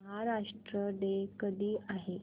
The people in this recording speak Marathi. महाराष्ट्र डे कधी आहे